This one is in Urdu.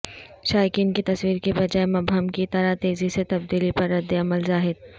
شائقین کی تصویر کی بجائے مبہم کی طرح تیزی سے تبدیلی پر ردعمل ظاہر